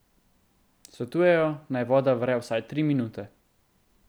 Svetujejo naj voda vre vsaj tri minute.